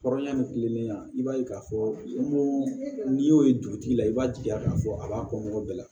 Kɔrɔ ɲɛ kilennenya i b'a ye k'a fɔ ko n'i y'o ye dugutigi la i b'a jigiya k'a fɔ a b'a kɔ bɛɛ la